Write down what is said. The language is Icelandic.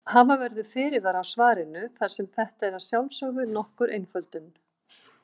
Hafa verður fyrirvara á svarinu þar sem þetta er að sjálfsögðu nokkur einföldun.